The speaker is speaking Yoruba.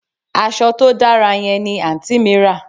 Aso to dara yen ni anti mi ra